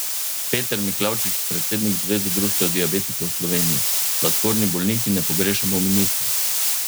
Peter Miklavčič, predsednik Zveze društev diabetikov Slovenije: "Sladkorni bolniki ne pogrešamo ministra.